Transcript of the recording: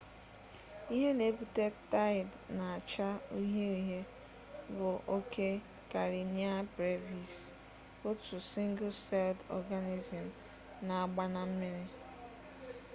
ihe n'ebute taid n'acha uhie uhie bu oke karenia brevis otu single-celled organism n'agba na mmiri